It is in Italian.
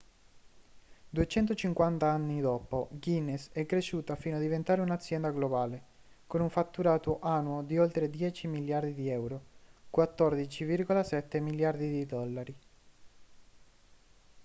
250 anni dopo guinness è cresciuta fino a diventare un’azienda globale con un fatturato annuo di oltre 10 miliardi di euro 14,7 miliardi di dollari